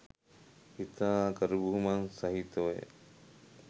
ඉතා ගරුබුහුමන් සහිතව ය.